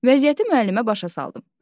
Vəziyyəti müəllimə başa saldım.